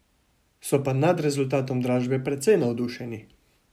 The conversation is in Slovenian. So pa naj rezultatom dražbe precej navdušeni.